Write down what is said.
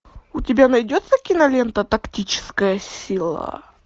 у тебя найдется кинолента тактическая сила